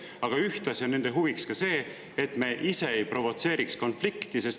Aga ühtlasi on nende huviks see, et me ise ei provotseeriks konflikti.